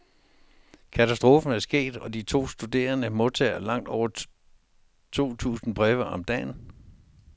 Katastrofen er sket, og de to studerende modtager langt over to tusind breve om dagen.